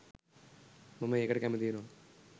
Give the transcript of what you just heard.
මම ඒකට කැමති වෙනවා